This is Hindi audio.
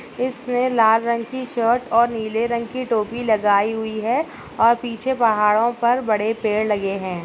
इसने लाल रंग की शर्ट और नीले रंग की टोपी लगाई हुई है। और पीछे पहाड़ों पर बड़े पेड़ लगे हैं।